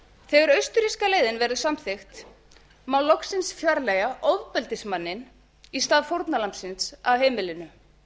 þegar austurríska leiðin verður samþykkt má loksins fjarlægja ofbeldismanninn í stað fórnarlambsins af heimilinu